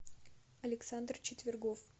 александр четвергов